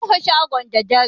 Mun rufe shagon da dare.